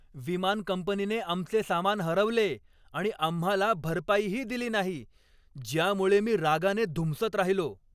विमान कंपनीने आमचे सामान हरवले आणि आम्हाला भरपाईही दिली नाही, ज्यामुळे मी रागाने धुमसत राहिलो.